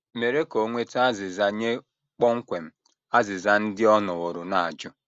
mere ka o nweta azịza nye kpọmkwem azịza ndị ọ nọworo na - ajụ.